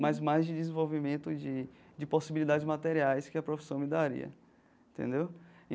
Mas mais de desenvolvimento de de possibilidades materiais que a profissão me daria, entendeu?